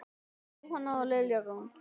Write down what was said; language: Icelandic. Jóhanna og Lilja Rún.